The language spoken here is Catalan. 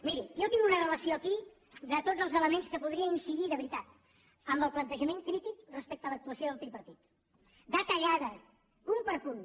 miri jo tinc una relació aquí de tots els elements que hi podria incidir de veritat amb el plantejament crític respecte a l’actuació del tripartit detallada punt per punt